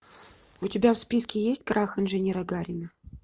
у тебя в списке есть крах инженера гарина